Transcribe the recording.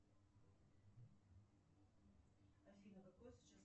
афина какой сейчас